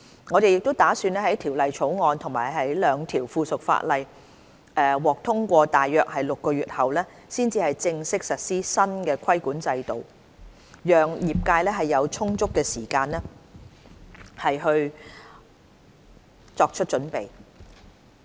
我們打算在《條例草案》及兩項附屬法例獲通過大約6個月後，才正式實施新的規管制度，讓業界有充足時間作出準備。